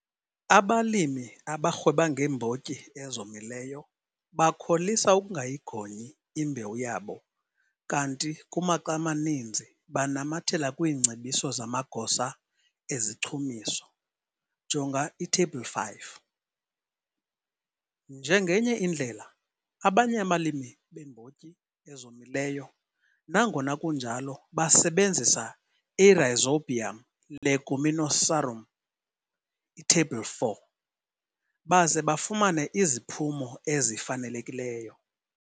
Abalimi abarhweba ngeembotyi ezomileyo bakholisa ukungayigonyi imbewu yabo kanti kumaxa amaninzi banamathela kwiingcebiso zamagosa ezichumiso, jonga iTheyibhile 5. Njengenye indlela, abanye abalimi beembotyi ezomileyo, nangona kunjalo basebenzisa iRhizobium leguminosarum, iTheyibhile 4, baze bafumane iziphumo ezifanelekileyo.